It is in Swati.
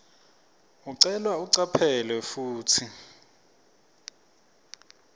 ucelwa ucaphele kutsi